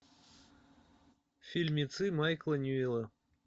фильмецы майкла ньюэлла